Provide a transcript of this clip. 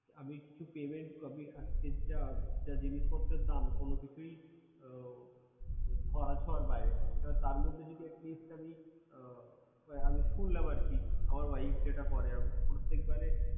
আমি কিছু payment করলে জিনিসপত্রের যা দাম ধরাছোঁয়ার বাইরে আর তার মধ্যে at least আমি শুনলাম আরকি আমার wife যেটা করে প্রত্যেকবার এ